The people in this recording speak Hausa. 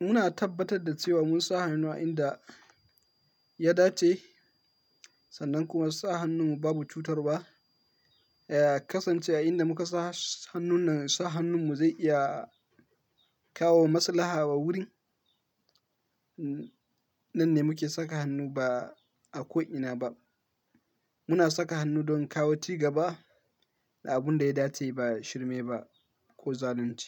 muna tabbatar da cewa mun sa hannu a inda ya dace sannan kuma sa hannun babu cutarwa. Kasance a inda muka sa hannun nan, sa hannun mu zai iya kawo maslaha wa wurin. Nan ne muke saka hannu ba a ko ina ba. Muna saka hannu don kawo cigaba da abun da ya dace ba shirmai ba ko zalunci.